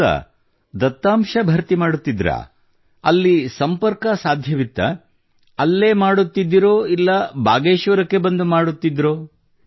ಹೌದಾ ದತ್ತಾಂಶ ಭರ್ತಿ ಮಾಡುತ್ತಿದ್ದರಾ ಅಲ್ಲಿ ಸಂಪರ್ಕ ಸಾಧ್ಯವಿತ್ತೇ ಅಲ್ಲೇ ಮಾಡುತ್ತಿದ್ದಿರೋ ಇಲ್ಲ ಭಾಗೇಶ್ವರಕ್ಕೆ ಬಂದು ಮಾಡುತ್ತಿದ್ದಿರೊ